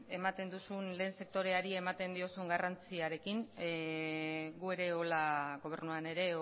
ematen duzun lehen sektoreari ematen diozun garrantziarekin gu ere hola gobernuan ere